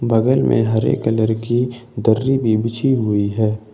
बगल में हरे कलर की दर्री भी बिछी हुई हैं।